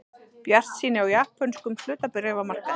Bjartsýni á japönskum hlutabréfamarkaði